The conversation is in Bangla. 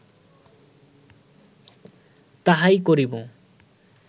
তাহাই করিব